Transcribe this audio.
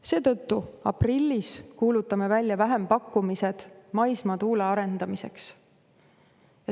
Seetõttu me kuulutame aprillis välja vähempakkumised maismaa tuule arendamiseks.